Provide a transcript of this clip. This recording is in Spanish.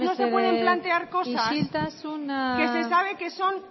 mesedez isiltasuna no se pueden plantear cosas que se sabe que son